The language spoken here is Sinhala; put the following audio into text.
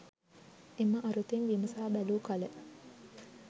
එම අරුතින් විමසා බැලුකළ